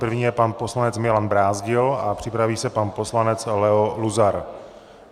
První je pan poslanec Milan Brázdil a připraví se pan poslanec Leo Luzar.